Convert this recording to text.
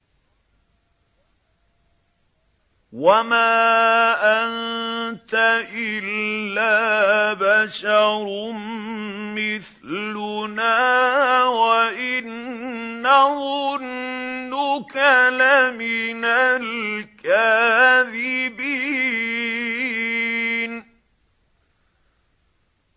وَمَا أَنتَ إِلَّا بَشَرٌ مِّثْلُنَا وَإِن نَّظُنُّكَ لَمِنَ الْكَاذِبِينَ